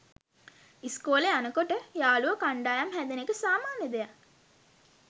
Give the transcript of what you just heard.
ඉස්කෝලේ යනකොට යාළුවො කණ්ඩායම් හැදෙන එක සාමාන්‍ය දෙයක්